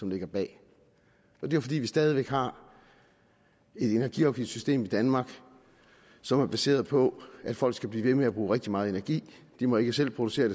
ligger bag det er fordi vi stadig væk har et energiafgiftssystem i danmark som er baseret på at folk skal blive ved med at bruge rigtig meget energi de må ikke selv producere